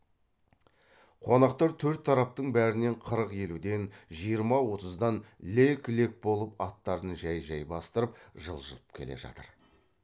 қонақтар төрт тараптың бәрінен қырық елуден жиырма отыздан лек лек болып аттарын жай жай бастырып жылжып келе жатыр